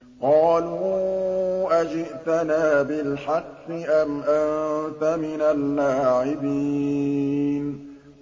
قَالُوا أَجِئْتَنَا بِالْحَقِّ أَمْ أَنتَ مِنَ اللَّاعِبِينَ